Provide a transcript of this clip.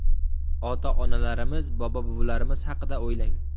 Ota-onalarimiz, bobo-buvilarimiz haqida o‘ylang.